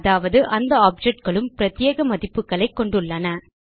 அதாவது அந்த objectகளும் பிரத்யேக மதிப்புகளைக் கொண்டுள்ளன